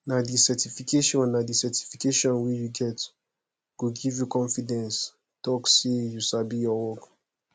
nah di certification nah di certification wey u get go give u confidence talk say you sabi ur work